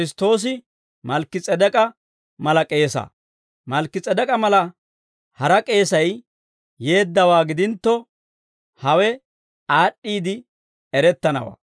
Malkki-S'edek'k'a mala hara k'eesay yeeddawaa gidintto, hawe aad'd'iide erettanawaa.